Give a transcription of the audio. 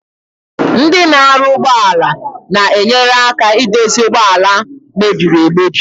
Ndi na aru ugbo ala na-enyere aka idozi ụgbọ ala mebiri emebi.